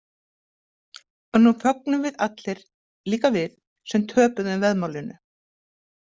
En nú fögnum við allir, líka við sem töpuðum veðmálinu.